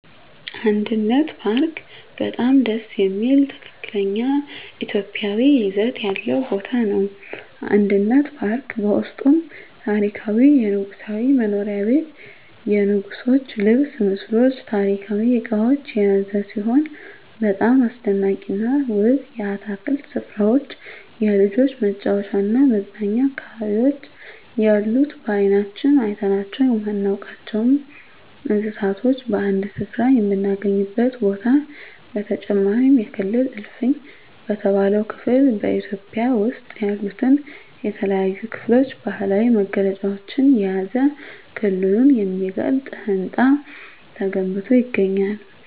አንድነት ፓርክ በጣም ደስ የሚል ትክክለኛ ኢትዮጵያዊ ይዘት ያለው ቦታ ነው። አንድነት ፓርክ በውስጡም ታሪካዊ የንጉሣዊ መኖሪያ ቤት የንጉሥች ልብስ ምስሎች ታሪካዊ እቃዎች የያዘ ሲሆን በጣም አስደናቂና ውብ የአትክልት ስፍራዎች የልጆች መጫወቻና መዝናኛ አካባቢዎች ያሉት በአይናችን አይተናቸው የማናውቃቸውን እንስሳቶች በአንድ ስፍራ የምናገኝበት ቦታ በተጨማሪም የክልል እልፍኝ በተባለው ክፍል በኢትዮጵያ ውስጥ ያሉትን የተለያዩ ክልሎች ባህላዊ መገለጫዎችን የያዘ ክልሉን የሚገልጽ ህንፃ ተገንብቶ ይገኛል።